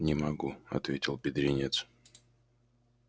не могу ответил бедренец